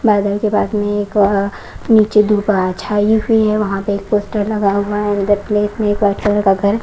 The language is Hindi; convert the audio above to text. बैंगन के बाग में एक नीचे धूपा छाई हुई है वहां पे एक पोस्टर लगा हुआ है अंदर का घर--